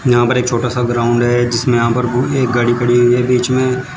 यहां पर एक छोटा सा ग्राउंड है जिसमें यहां पर एक गाड़ी खड़ी हुई है बीच में--